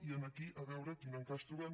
i aquí a veure quin encaix trobem